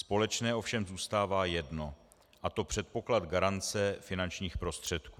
Společné ovšem zůstává jedno, a to předpoklad garance finančních prostředků.